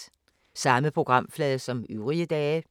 Samme programflade som øvrige dage